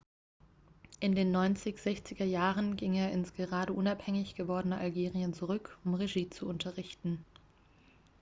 in den 1960er jahren ging er ins gerade unabhängig gewordene algerien zurück um regie zu unterrichten